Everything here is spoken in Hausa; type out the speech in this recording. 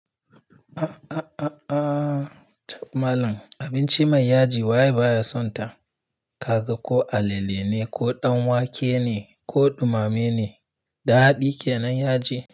Aah aah aah tap malan, abinci mai yaji waye baya sonta? Kaga ko alale ne, ko danwake ne, ko dumame ne, daɗi kenan yaji.